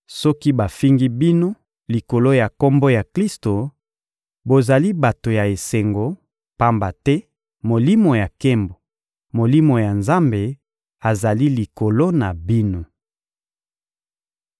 Soki bafingi bino likolo ya Kombo ya Klisto, bozali bato ya esengo, pamba te Molimo ya nkembo, Molimo ya Nzambe, azali likolo na bino.